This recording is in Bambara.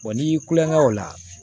n'i y'i kulo kɛŋa o la